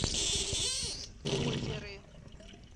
озеры